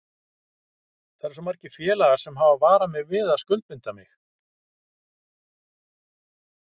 Það eru svo margir félagar sem hafa varað mig við að skuldbinda mig.